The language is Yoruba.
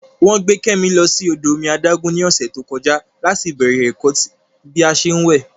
Wọ́n gbé Kẹ́mi lọ sí odò omi adágún ní ọ̀sẹ̀ tó kọjá láti bẹ̀rẹ̀ ẹ̀kọ́ bí a ṣé ń wẹ̀